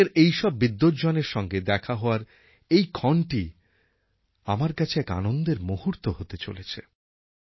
বিশ্বের এইসব বিদ্বজ্জনের সঙ্গে দেখা হওয়ার এই ক্ষণটি আমার কাছে এক আনন্দের মুহূর্ত হতে চলেছে